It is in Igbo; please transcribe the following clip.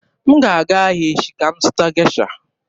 M ga-aga ahịa echi ka m zụta Gesha.